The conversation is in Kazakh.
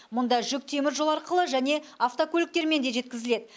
мұнда жүк теміржол арқылы және автокөліктермен де жеткізіледі